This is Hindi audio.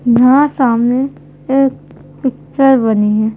यहाँ सामने एक पिक्चर बनी है।